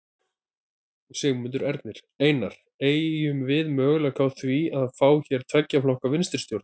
Sigmundur Ernir: Einar, eygjum við möguleika á því að fá hér tveggja flokka vinstristjórn?